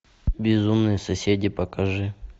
безумные соседи покажи